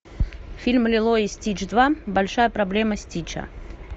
фильм лило и стич два большая проблема стича